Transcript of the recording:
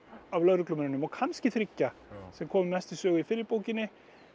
af lögreglumönnunum og kannski þriggja sem komu mest við sögu í fyrri bókinni